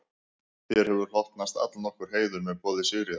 Þér hefur hlotnast allnokkur heiður með boði Sigríðar